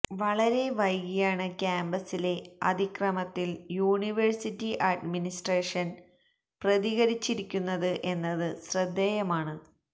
വളരെ വൈകിയാണ് ക്യാമ്പസിലെ അതിക്രമത്തില് യൂണിവേഴ്സിറ്റി അഡ്മിനിസ്ട്രേഷന് പ്രതികരിച്ചിരിക്കുന്നത് എന്നത് ശ്രദ്ധേയമാണ്